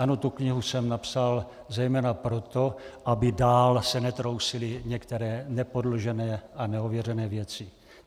Ano, tu knihu jsem napsal zejména proto, aby dál se netrousily některé nepodložené a neověřené věci.